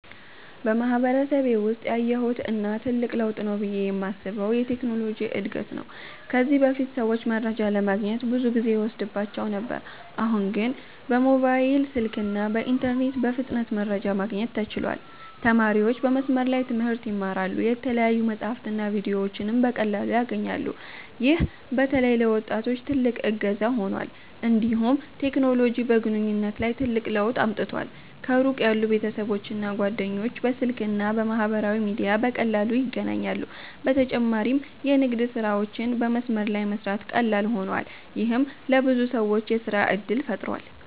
በማህበረሰቤ ውስጥ ያየሁት እና ትልቅ ለውጥ ነው ብዬ የማስበው የቴክኖሎጂ እድገት ነው። ከዚህ በፊት ሰዎች መረጃ ለማግኘት ብዙ ጊዜ ይወስድባቸው ነበር፤ አሁን ግን በሞባይል ስልክና በኢንተርኔት በፍጥነት መረጃ ማግኘት ተችሏል። ተማሪዎች በመስመር ላይ ትምህርት ይማራሉ፣ የተለያዩ መጻሕፍትና ቪዲዮዎችንም በቀላሉ ያገኛሉ። ይህ በተለይ ለወጣቶች ትልቅ እገዛ ሆኗል። እንዲሁም ቴክኖሎጂ በግንኙነት ላይ ትልቅ ለውጥ አምጥቷል። ከሩቅ ያሉ ቤተሰቦችና ጓደኞች በስልክ እና በማህበራዊ ሚዲያ በቀላሉ ይገናኛሉ። በተጨማሪም የንግድ ስራዎች በመስመር ላይ በመስራት ቀላል ሆነዋል፣ ይህም ለብዙ ሰዎች የሥራ እድል ፈጥሯል።